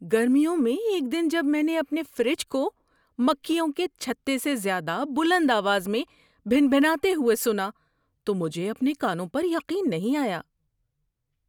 گرمیوں میں ایک دن جب میں نے اپنے فریج کو مکھیوں کے چھتے سے زیادہ بلند آواز میں بھنبھناتے ہوئے سنا تو مجھے اپنے کانوں پر یقین نہیں آیا!